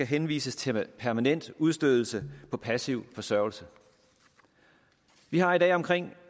henvist til permanent udstødelse på passiv forsørgelse vi har i dag omkring